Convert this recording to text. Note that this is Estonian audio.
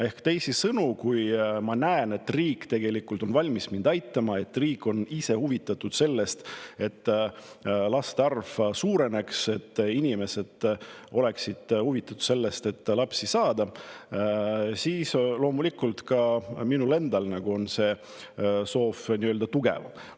Ehk teisisõnu, kui ma näen, et riik on tegelikult ka valmis mind aitama, et riik on ise huvitatud sellest, et laste arv suureneks, ning et inimesed on huvitatud sellest, et lapsi saada, siis loomulikult ka minul endal on see soov tugevam.